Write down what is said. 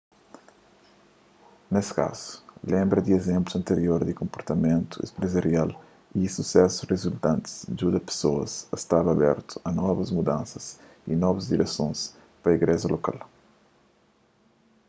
nes kazu lenbra di izénplus antiror di konportamentu enprezarial y susesus rizultantis djuda pesoas a sta abertu a novus mudansas y novus diresons pa igreja lokal